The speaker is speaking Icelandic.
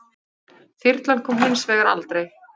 Þyrlan kom hins vegar aldrei.